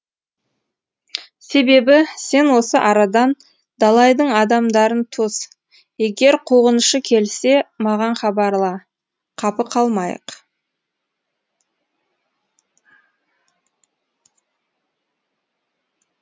себебі сен осы арадан далайдың адамдарын тос егер қуғыншы келсе маған хабарла қапы қалмайық